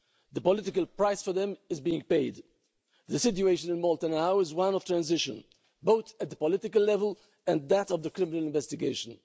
The political price for them is being paid. The situation in Malta now is one of transition, both at the political level and that of the criminal investigation.